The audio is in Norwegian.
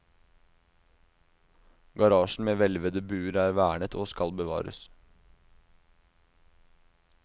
Garasjen med hvelvede buer er vernet og skal bevares.